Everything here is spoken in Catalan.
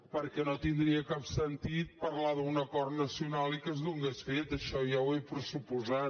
perquè no tindria cap sentit parlar d’un acord nacional i que es donés fet això ja ho he pressuposat